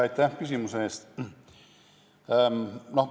Aitäh küsimuse eest!